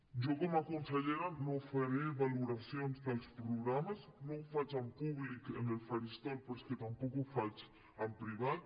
jo com a consellera no faré valoracions dels programes no ho faig en públic en el faristol però és que tampoc ho faig en privat